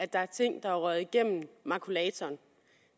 der er ting der er røget igennem makulatoren